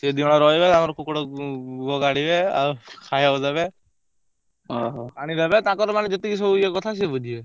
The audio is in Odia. ସିଏ ଦି ଜଣ ରହିବେ ତାଙ୍କର କୁକୁଡ଼ା କାଢିବେ ଆଉ ଖାଇବାକୁ ଦେବେ ପାଣିଦେବେ ତାଙ୍କର ମାନେ ଯେତିକି ସବୁ ଇଏ କଥା ସିଏ ବୁଝିବେ।